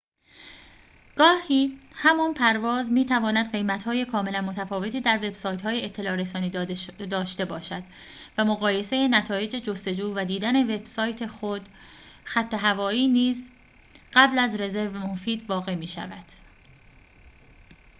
گاهی همان پرواز می‌تواند قیمت‌های کاملاً متفاوتی در وبسایت‌های اطلاع‌رسانی داشته باشد و مقایسه نتایج جستجو و دیدن وبسایت خود خط‌هوایی نیز قبل از رزرو مفید واقع می‌شود